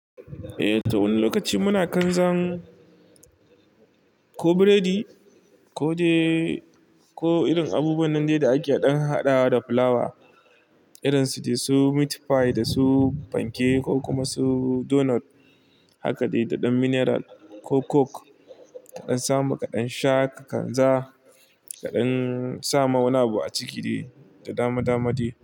Eh, ta wani lokaci muna kan zan. Ko biredi, ko de ko irin abubuwan nan dai da ake ɗan harhaɗawa da fulawa. Irin su dai su meat pie da su fanke ko kuma su donut. Haka dai da ɗan mineral ko coke kaɗan samu kaɗan sha kadan jaa kaɗan. Samu wani abu a ciki dai da dama dama dai.